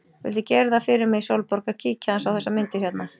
Viltu gera það fyrir mig, Sólborg, að kíkja aðeins á þessar myndir hérna!